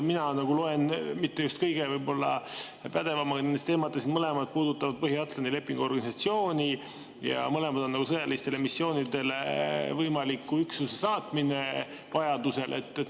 Mina loen siit – ma ei ole mitte just kõige pädevam nendes teemades –, et mõlemad puudutavad Põhja-Atlandi Lepingu Organisatsiooni ja mõlema on võimaliku üksuse sõjalisele missioonile saatmine vajaduse korral.